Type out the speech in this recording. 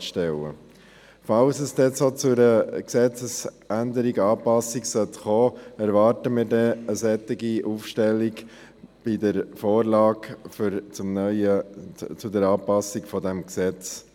Falls es denn zu einer solchen Gesetzesänderung oder -anpassung kommt, erwarten wir eine solche Aufstellung bei der Vorlage zur Anpassung des Gesetzes.